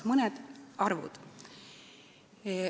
Mõned arvud.